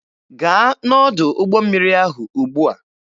Gaa n'ọdụ ụgbọ mmiri ahụ ugbua!